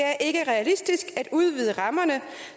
er ikke realistisk at udvide rammerne